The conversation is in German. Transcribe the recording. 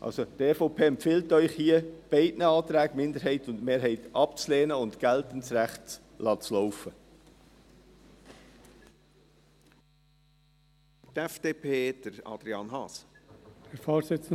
Also: Die EVP empfiehlt Ihnen hier, beide Anträgen, Minderheit und Mehrheit, abzulehnen und das geltende Recht laufen zu lassen.